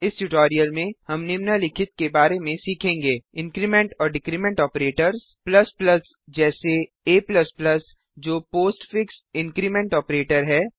इस ट्यूटोरियल में हम निम्नलिखित के बारे में सीखेंगे इंक्रीमेंट और डिक्रीमेंट ऑपरेटर्स जैसे a जो postfix increment postfix increment operator है